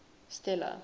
stella